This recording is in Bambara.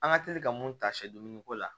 An ka teli ka mun ta sɛ dumuniko la